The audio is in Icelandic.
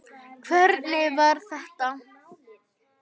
Hvernig var þetta?!